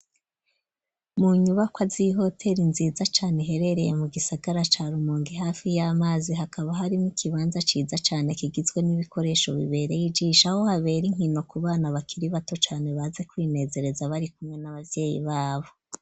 Mu nyubakwa, z'ihoteri nziza cane, iherereye mu gisagara, ca Rumonge, hafi y'amazi; hakaba harimwo ikibanza, ciza cane, kigizwe n'ibikoresho, bibereye ijisho, aho, habera inkino, ku bana, bakiri bato cane, baza kwinezereza, bari kumwe, n'abavyeyi babo.